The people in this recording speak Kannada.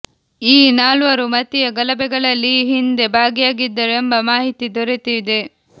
ಈ ನಾಲ್ವರು ಮತೀಯ ಗಲಭೆಗಳಲ್ಲಿ ಈ ಹಿಂದೆ ಭಾಗಿಯಾಗಿದ್ದರು ಎಂಬ ಮಾಹಿತಿ ದೊರೆತಿದೆ